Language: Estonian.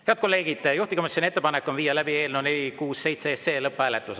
Head kolleegid, juhtivkomisjoni ettepanek on viia läbi eelnõu 467 lõpphääletus.